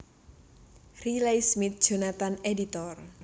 Riley Smith Jonathan editor